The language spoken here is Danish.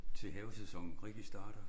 Til havesæsonen rigtig starter